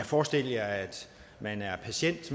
forestil jer at man er patient